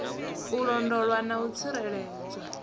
u londolwa na u tsireledzwa